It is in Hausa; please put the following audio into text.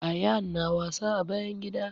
Ayaan na wasa a bayan gida